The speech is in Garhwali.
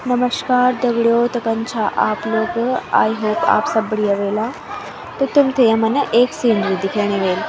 नमश्कार दगडियों त कन छा आप आई होप आप सब बढ़िया ह्वेला त तुम्थे यमा न एक सीनरी दिखेणी वेली।